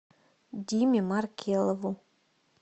диме маркелову